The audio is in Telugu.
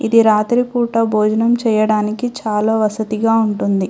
ఇది రాత్రిపూట భోజనం చేయడానికి చాలా వసతిగా ఉంటుంది.